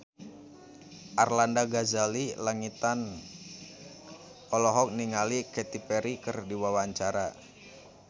Arlanda Ghazali Langitan olohok ningali Katy Perry keur diwawancara